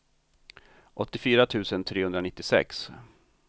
åttiofyra tusen trehundranittiosex